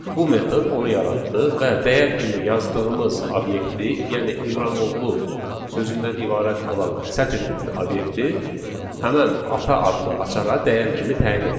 bu metod onu yaratdı və dəyər kimi yazdığımız obyekti, yəni İmranoglu sözündən ibarət olan sətr tipli obyekti həmin ata adlı açara dəyər kimi təyin etdi.